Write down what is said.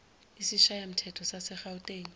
isishayamthetho sase gauteng